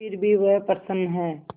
फिर भी वह प्रसन्न है